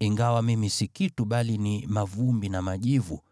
ingawa mimi si kitu bali ni mavumbi na majivu;